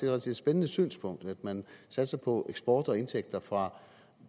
rigtig spændende synspunkt at man satser på eksport af og indtægter fra